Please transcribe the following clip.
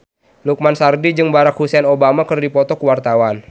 Lukman Sardi jeung Barack Hussein Obama keur dipoto ku wartawan